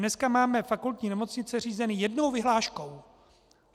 Dneska máme fakultní nemocnice řízeny jednou vyhláškou.